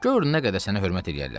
Gör nə qədər sənə hörmət eləyərlər.